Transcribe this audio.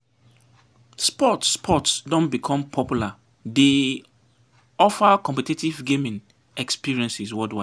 E-sports E-sports don become popular, dey offer competitive gaming experiences worldwide.